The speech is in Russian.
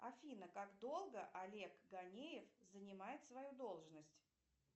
афина как долго олег ганеев занимает свою должность